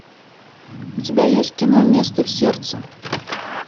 у тебя есть кино место в сердце